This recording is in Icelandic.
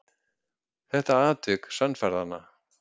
Þetta atvik sannfærði hana.